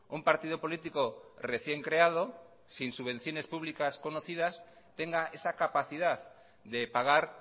un partido político recién creado sin subvenciones públicas conocidas tenga esa capacidad de pagar